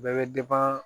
Bɛɛ bɛ